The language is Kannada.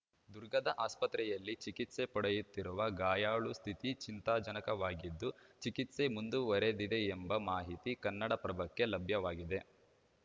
ದುರ್ಗದ ಆಸ್ಪತ್ರೆಯಲ್ಲಿ ಚಿಕಿತ್ಸೆ ಪಡೆಯುತ್ತಿರುವ ಗಾಯಾಳು ಸ್ಥಿತಿ ಚಿಂತಾಜನಕವಾಗಿದ್ದು ಚಿಕಿತ್ಸೆ ಮಂದುವರೆದಿದೆಯೆಂಬ ಮಾಹಿತಿ ಕನ್ನಡಪ್ರಭಕ್ಕೆ ಲಭ್ಯವಾಗಿದೆ